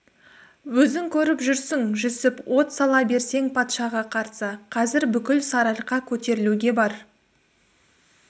өзің көріп жүрсің жүсіп от сала білсең патшаға қарсы қазір бүкіл сарыарқа көтерілуге бар